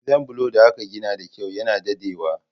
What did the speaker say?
Gidan bulo da aka gina da kyau na daɗewa